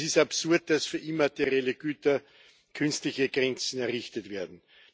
Es ist absurd, dass für immaterielle Güter künstliche Grenzen errichtet werden.